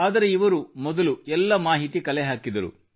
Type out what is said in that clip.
ಆದರೆ ಇವರು ಮೊದಲು ಎಲ್ಲ ಮಾಹಿತಿ ಕಲೆಹಾಕಿದರು